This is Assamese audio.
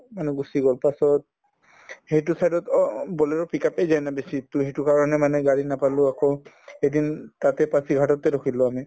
মানে গুচি গল তাৰ পাছত সেইটো side ত অ অ bolero pickup য়ে যায় এনে বেছি to সেইটো কাৰণে মানে গাড়ী নাপালো আকৌ এদিন তাতে পাঁচিঘাটতে ৰখিলো আমি